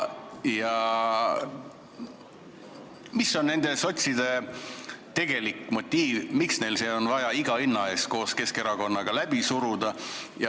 Mis on sotside tegelik motiiv, miks neil on vaja see iga hinna eest koos Keskerakonnaga läbi suruda?